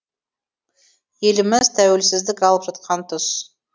еліміз тәуелсіздік алып жатқан тұс